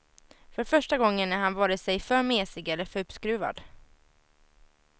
För första gången är han vare sig för mesig eller för uppskruvad.